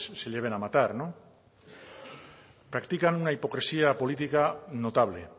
se lleven a matar practican una hipocresía política notable